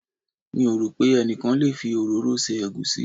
Mi ò rò pé ẹnikan lè fi òróró se egusi.